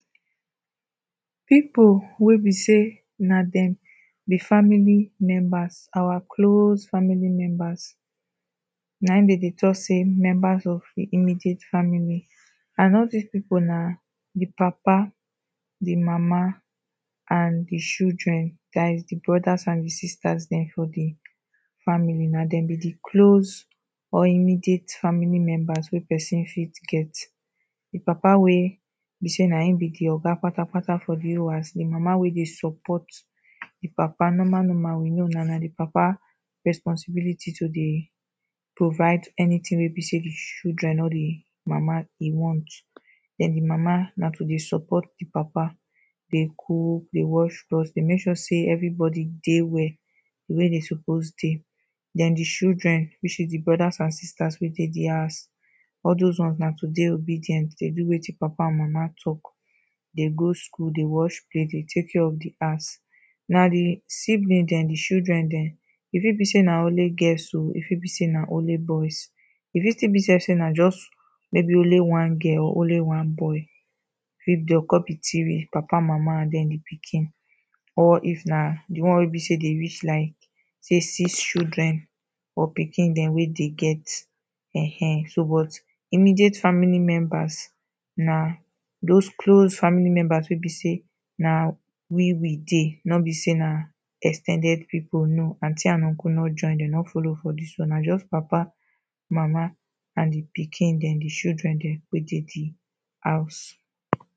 People wey be sey na dem be family members, our close family members, na im dem dey talk sey members of the immediate family. And all dis people na the papa the mama and the children. Dat is the brothers and the sisters dem for the family. Na dem be the close or immediate family members wey person fit get. The papa wey be sey na im be the oga patapata for the whole house, the mama wey dey support the papa, normal normal we know na the papa responsibility to dey provide anything wey be sey the children or the mama e want. Den the mama na to dey support the papa dey cook, dey wash cloth, dey make sure sey everybody dey well the way they suppose dey. Den the children which is the brothers and sisters wey dey the house all dos ones na to dey obedient dey do wetin papa and mama talk. Dey go school, dey wash plate, dey take care of the house. Na the siblings dem, the children dem. E fit be sey na only girls oh, e fit be sey na only boys, e fit still be self sey na just maybe only one girl or only one boy dey con be three. Papa, mama and den the pikin or if na the one wey be sey they reach like sey six children or pikin dem wey they get. um So but immediate family members na dos close family members wey be sey na we we dey. No be sey na ex ten ded people, no. Aunty and uncle no join dem. No follow for dis one. Na just papa, mama and the pikin dem, the children dem wey dey the house.